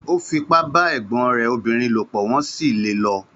Ó fipá bá ẹ̀gbọ́n rẹ̀ obìnrin lò pọ̀, wọ́n sì lé e lọ.